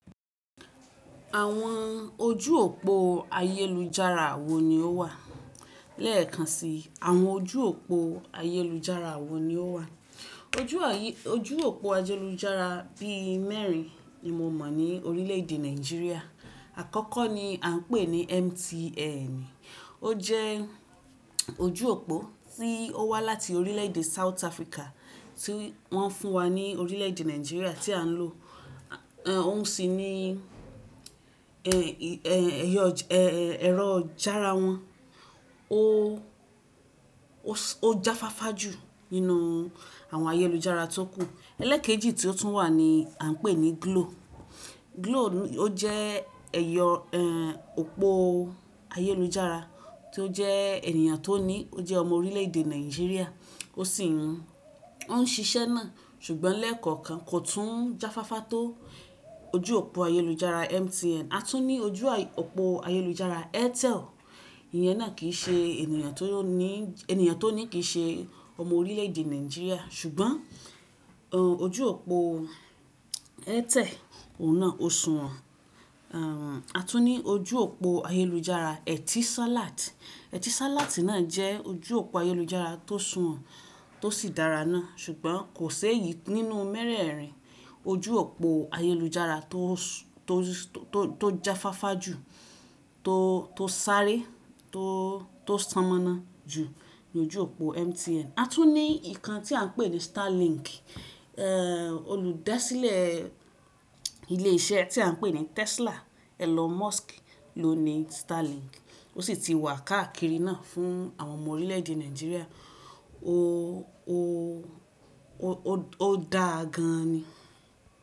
Àwọn ojú òpó ayélujára wo ni ó wà? Lẹ́ẹ̀kan si, àwọn ojú òpó ayélujára wo ni ó wà? Ojú àyí-- ojú òpó ayélujára bí mẹ́rin ni mo mọ̀ ní orílẹ̀èdè Nàìjíríà. Àkọ́kọ́ ni à n pè ní MTN, ó jẹ́ ojú òpó tí ó wá láti orílẹ̀èdè South Africa tí wọ́n fún wa ní orílẹ̀èdè Nàìjíríà tí à ń lò. Ẹ̀ Ọ́n sì ní ẹ̀, ẹ̀, ẹ̀yọ, ẹ, ẹ, ẹ̀rọ jára wọn. Ó, ó jáfáfá jù nínú àwọn ayélujára tó kù. Ẹlẹ́ẹ̀kejì tí ó tún wà ní à ń pè ní Glo. Glo ó jẹ́ ẹ̀yọ, ẹ, òpó ayélujára tí ó jẹ́ ènìyàn tó ní, ó jẹ́ ọmọ orílẹ̀èdè Nàìjíríà ó sì ń, ó ń ṣiṣẹ́ náà. Ṣùgbọ́n lẹ́ẹ̀kọ̀kan kò tún jáfáfá tó ojú òpó ayélujára MTN. A tún ní ojú à, òpó ayélujára Airtel. Ìyẹn náà kì í ṣe ènìyàn tó ní, ènìyàn tó ní kì í ṣe ọmọ orílẹ̀èdè Nàìjíríà. Ṣùgbọ́n, ẹ̀, ojú òpó Airtel òun náà ó suwọ̀n. A tún ní ojú òpó ayélujára Etisalat. Etisalat náà jẹ́ ojú òpó ayélujára tó suwọ̀n tó sì dára ná. Ṣùgbọ́n kò séèyí nínú mẹ́rẹ̀ẹ̀rin ojú òpó ayélujára tó s- tó, tó, tó jáfáfá jù tó, tó sáré tó, tó ṣamọ́ná jù ni ojú òpó MTN. A tún ní ìkan tí à ń pè ní Starlink. Ẹ̀, olùdásílẹ̀ ilé iṣẹ́ tí à ń pè ní Tesla, Elon Musk ló ni Starlink. Ó sì ti wà káàkiri náà fún àwọn ọmọ orílẹ̀èdè Nàìjíríà. Ó, ó, ó, ó dáa gan an ni.